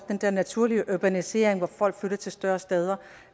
den der naturlige urbanisering hvor folk flytter til større steder